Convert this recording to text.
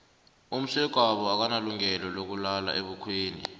umsegwabo akanalungelo lokulala ebukhweni